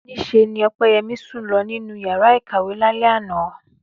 Níṣe ni Ọpẹ́yẹmí sùn lọ nínú yàrá ìkàwé lálẹ́ àná